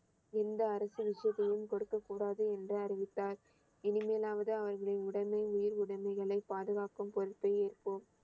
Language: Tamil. எந்த அரசியல் விஷயத்தையும் கொடுக்கக் கூடாது என்று அறிவித்தார் இனிமேலாவது அவர்களை உடனே உயிர் உடமைகளை பாதுகாக்கும் பொறுப்பை ஏற்போம்